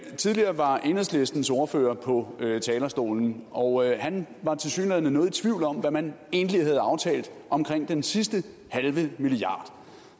tidligere var enhedslistens ordfører på talerstolen og han var tilsyneladende noget i tvivl om hvad man egentlig havde aftalt omkring den sidste halve milliard